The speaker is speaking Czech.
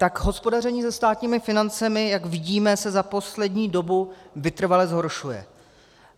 Tak hospodaření se státními financemi, jak vidíme, se za poslední dobu vytrvale zhoršuje.